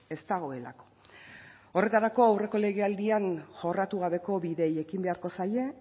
ez dagoelako aurreko legealdian jorratu gabeko bideei ekin beharko zaie